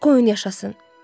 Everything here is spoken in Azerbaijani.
Qoyun yaşasın.